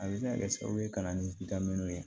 A bɛ se ka kɛ sababu ye ka na ni ye